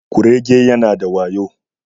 Kurege yana da wayo